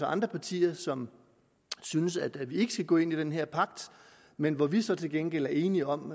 andre partier som synes at vi ikke skal gå ind i den her pagt men hvor vi så til gengæld er enige om